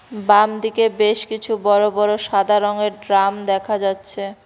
বাম দিকে বেশ কিছু বড় বড় সাদা রঙের ড্রাম দেখা যাচ্ছে।